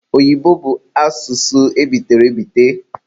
Oyibo bụ asụsụ ebitere ebite.